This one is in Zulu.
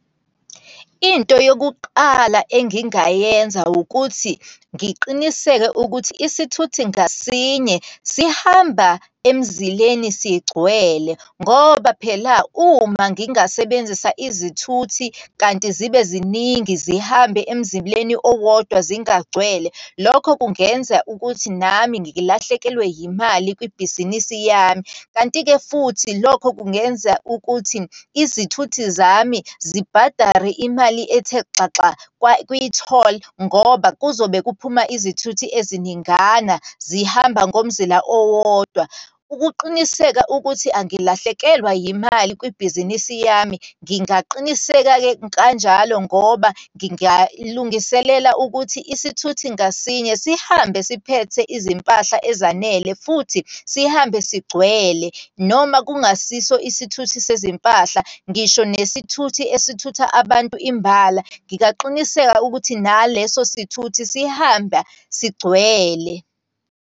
Into yokuqala engingayenza ukuthi, ngiqiniseke ukuthi isithuthi ngasinye sihamba emzileni sigcwele. Ngoba phela uma ngingasebenzisa izithuthi kanti zibe ziningi, zihambe emzileni owodwa zingagcwele, lokho kungenza ukuthi nami ngilahlekelwe yimali kwibhizinisi yami. Kanti-ke futhi lokho kungenza ukuthi izithuthi zami zibhadare imali ethe xaxa kwa, kwitholi, ngoba kuzobe kuphuma izithuthi eziningana zihamba ngomzila owodwa. Ukuqiniseka ukuthi angilahlekelwa yimali kwibhizinisi yami, ngingaqiniseka-ke kanjalo ngoba ngingalungiselela ukuthi isithuthi ngasinye sihambe siphethe izimpahla ezanele, futhi sihambe sigcwele, noma kungasiso isithuthi sezimpahla, ngisho nesithuthi esithutha abantu imbala, ngingaqiniseka ukuthi naleso sithuthi sihamba sigcwele.